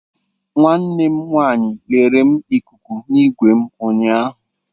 Nwanne m nwanyị lere m ikuku n'ime igwe m ụnyaahụ.